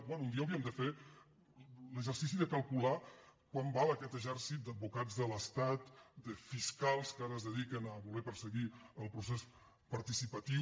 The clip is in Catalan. bé un dia hauríem de fer l’exercici de calcular quant val aquest exèrcit d’advocats de l’estat de fiscals que ara es dediquen a voler perseguir el procés participatiu